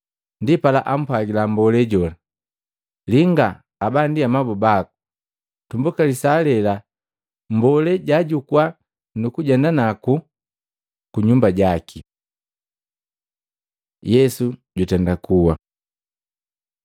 Ndipala ampwagila mmbole jola, “Linga aba ndi amabu baku.” Tumbuka lisaa lela mmbolee jaajukua nukujenda kutama naku kunyumba jaki. Yesu jutenda kuwa Matei 27:45-56; Maluko 15:33-41; Luka 23:44-49